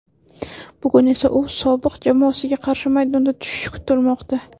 Bugun esa u sobiq jamoasiga qarshi maydonda tushishi kutilmoqda.